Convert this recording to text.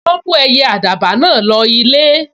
Wọ́n mú ẹyẹ àdàbà náà lọ ilé